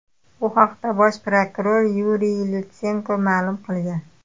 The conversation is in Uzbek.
Bu haqda bosh prokuror Yuriy Lutsenko ma’lum qilgan.